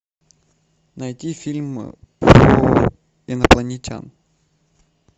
найти фильм про инопланетян